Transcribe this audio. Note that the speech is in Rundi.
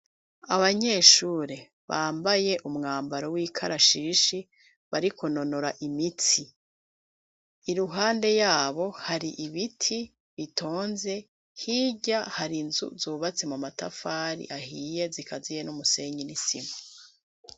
Abanyeshure bambaye umwambaro w'ikarashishi bari kunonora imitsi. Iruhande yabo hari ibiti bitonze, hijya hari nzu zubatse mu matafari ahiye zikaziye n'umusenyini n'isima.